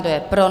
Kdo je pro?